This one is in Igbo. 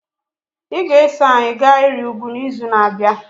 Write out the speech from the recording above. Ị ga-eso anyị gaa ịrị ugwu n'izu na-abịa.